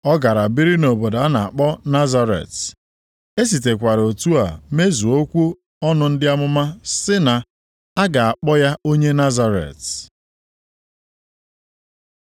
Ọ gara biri nʼobodo a na-akpọ Nazaret. E sitekwara otu a mezuo okwu ọnụ ndị amụma sị na, “A ga-akpọ ya onye Nazaret.”